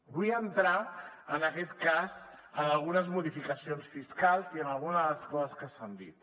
vull entrar en aquest cas en algunes modificacions fiscals i en algunes de les coses que s’han dit